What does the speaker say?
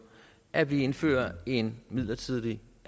at indføre en midlertidig